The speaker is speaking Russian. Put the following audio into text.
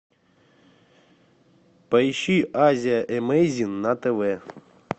поищи азия эмейзин на тв